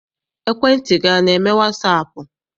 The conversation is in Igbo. Ekwentị gị ana eme wasaapụ?